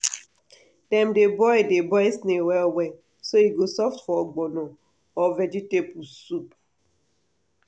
dem dey boil dey boil snail well well so e go soft for ogbono or vegetable soup.